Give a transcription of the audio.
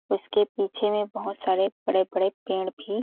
इसके पीछे में बहुत सारे बड़े -बड़े पेड़ भी --